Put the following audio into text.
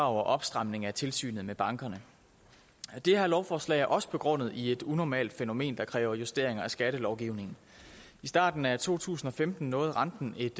og opstramning af tilsynet med bankerne det her lovforslag er også begrundet i et unormalt fænomen der kræver justeringer af skattelovgivningen i starten af to tusind og femten nåede renten et